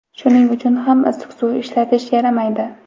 Shuning uchun ham issiq suv ishlatish yaramaydi.